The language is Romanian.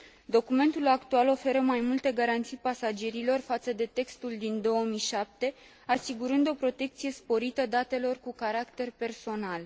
Documentul actual oferă mai multe garanții pasagerilor față de textul din 2007, asigurând o protecție sporită datelor cu caracter personal.